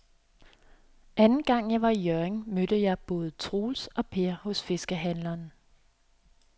Anden gang jeg var i Hjørring, mødte jeg både Troels og Per hos fiskehandlerne.